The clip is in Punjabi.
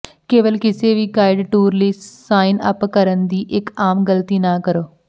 ਕੇਵਲ ਕਿਸੇ ਵੀ ਗਾਈਡ ਟੂਰ ਲਈ ਸਾਇਨ ਅਪ ਕਰਨ ਦੀ ਇੱਕ ਆਮ ਗਲਤੀ ਨਾ ਕਰੋ